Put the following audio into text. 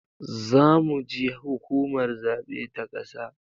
Zamu ji hukumar zabe ta ƙasa